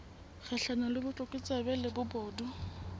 kgahlanong le botlokotsebe le bobodu